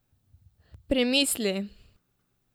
Premislili?